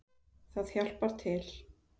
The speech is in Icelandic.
Það hjálpar til